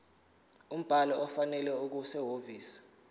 umbhalo ofanele okusehhovisi